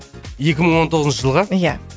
екі мың он тоғызыншы жылға иә